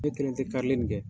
Dɔw kelen tɛ karili n' kɛ